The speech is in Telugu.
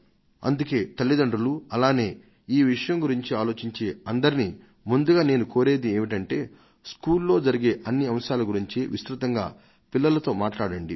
అందుకే తల్లితండ్రులు అలానే ఈ విషయం గురించి ఆలోచించే అందరినీ ముందుగా నేను కోరేది ఏమిటంటే స్కూల్లో జరిగే అన్ని అంశాల గురించి విస్తృతంగా పిల్లలతో మాట్లాడండి